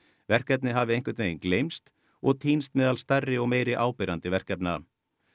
verkefnið hafi einhvern veginn gleymst og týnst meðal stærri og meira áberandi verkefna